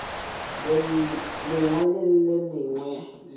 lengwe le le lengwe le